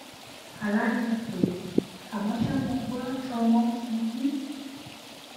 ala ni mo pe e amọ ṣa mo gbọ ti ọmọ n sunkun